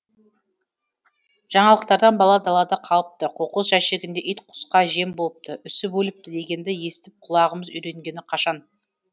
жаңалықтардан бала далада қалыпты қоқыс жәшігінде ит құсқа жем болыпты үсіп өліпті дегенді естіп құлағымыз үйренгені қашан